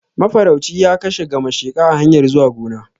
Mafarauci ya kashe gamasheka a hanyar zuwa gona